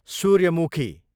सूर्यमुखी